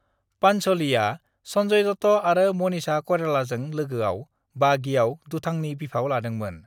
पांच'लीआ संजय दत्त आरो मनीषा कइरालाजों लोगोआव बागीआव दुथांनि बिफाव लादोंमोन।